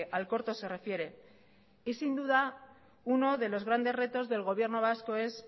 al corto se refiere y sin duda uno de los grandes retos del gobierno vasco es